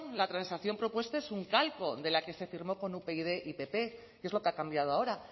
la transacción propuesta es un calco de la que se firmó con upyd y pp qué es lo que ha cambiado ahora